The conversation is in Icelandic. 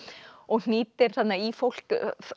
og hnýtir þarna í fólk